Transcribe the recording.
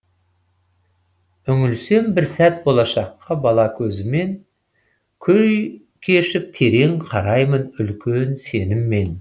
үңілсем бір сәт болашаққа бала көзімен күй кешіп терең қараймын үлкен сеніммен